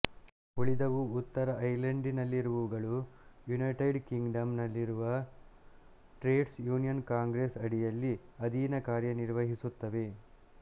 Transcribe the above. ಉಳಿದವು ಉತ್ತರ ಐರ್ಲೆಂಡಿನಲ್ಲಿರುವವುಗಳು ಯುನೈಟೆಡ್ ಕಿಂಗಡಮ್ ನಲ್ಲಿರುವ ಟ್ರೇಡ್ಸ್ ಯುನಿಯನ್ ಕಾಂಗ್ರೆಸ್ ಅಡಿಯಲ್ಲಿ ಅಧೀನ ಕಾರ್ಯ ನಿರ್ವಹಿಸುತ್ತವೆ